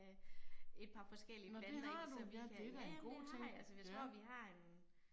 Et par forskellige planter i så vi kan, ja ja jamen det har jeg, så jeg tror vi har en